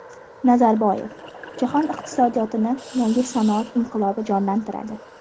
Nazarboyev: jahon iqtisodiyotini yangi sanoat inqilobi jonlantiradi.